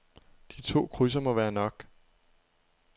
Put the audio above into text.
De to krydser må være nok.